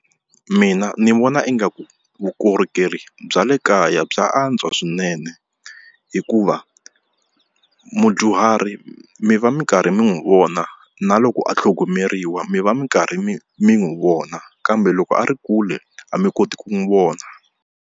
Mina ndzi vona ingaku vukorhokeri bya le kaya bya antswa swinene hikuva mudyuhari mi va mi karhi mi n'wi vona na loko a tlhogomeriwa mi va mi karhi mi mi n'wi vona kambe loko a ri kule a mi koti ku n'wi vona.